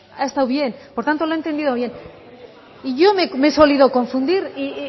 ha estado bien por tanto lo ha entendido bien y yo me he solido confundir y